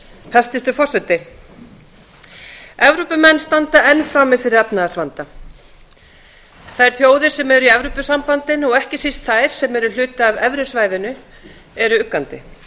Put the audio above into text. hæstvirtur forseti evrópumenn standa enn frammi fyrir efnahagsvanda þær þjóðir sem eru í evrópusambandinu og ekki síst þær sem eru hluti af evrusvæðinu eru uggandi